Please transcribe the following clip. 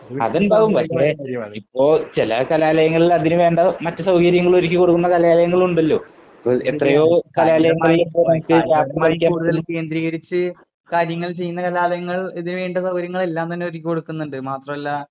അതുണ്ടാകും പക്ഷേ ഓ ചില കലാലയങ്ങളിൽ അതിന് വേണ്ട മറ്റു സൌകര്യങ്ങൾ ഒരുക്കി കൊടുക്കുന്ന കലാലയങ്ങൾ ഉണ്ടല്ലോ. ഇപ്പോ എത്രയോ കലാലയങ്ങളിൽ കേന്ദ്രീകരിച്ച് കാര്യങ്ങൾ ചെയ്യുന്ന കലാലയങ്ങൾ ഇതിന് വേണ്ടുന്ന സൌകര്യങ്ങൾ എല്ലാം തന്നെ ഒരുക്കി കൊടുക്കുന്നുണ്ട്. മാത്രല്ല